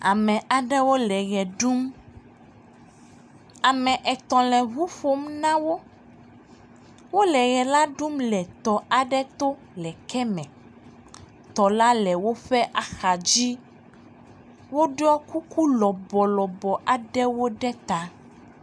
Ame aaɖewo le ʋe ɖum. Ame etɔ̃ ŋu ƒom na wo. Wole ʋ e la ɖum le tɔ aɖe to le eke me. Tɔ la le woƒe axadzi. Woɖɔ kuku lɔbɔlɔbɔ aɖewo ɖe ta.